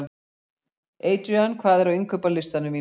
Adrían, hvað er á innkaupalistanum mínum?